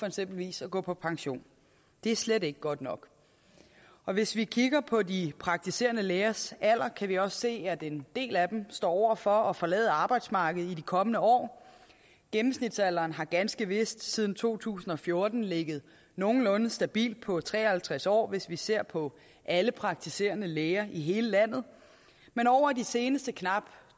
eksempelvis at gå på pension det er slet ikke godt nok og hvis vi kigger på de praktiserende lægers alder kan vi også se at en del af dem står over for at forlade arbejdsmarkedet i de kommende år gennemsnitsalderen har ganske vist siden to tusind og fjorten ligget nogenlunde stabilt på tre og halvtreds år hvis vi ser på alle praktiserende læger i hele landet men over de seneste knap